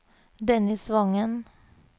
Dennis Wangen